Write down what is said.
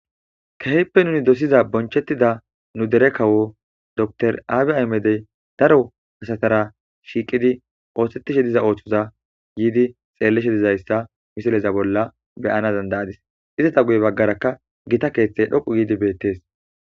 Kehipe nu dosiza bonchetida nu dere kawo dokter abiy ahimede daro asatara shiqidi osetishe diza osoza yidi xelishe dizaysa missiza bola be'ana danda'adis izeta guye bagaraka gita kethay dhoqu gidi betes.